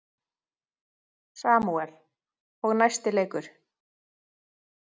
Samúel: Og næsti leikur.